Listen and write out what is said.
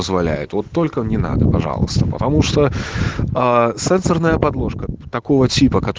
позволяет вот только не надо пожалуйста потому что сенсорная подложка такого типа